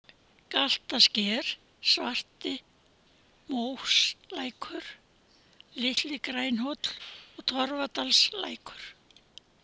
Galtarsker, Svartimóslækur, Litli-Grænhóll, Torfadalslækur